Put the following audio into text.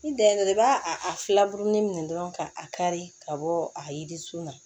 N dɛmɛ i b'a a filaburumu minɛ dɔrɔn ka a kari ka bɔ a yerisun na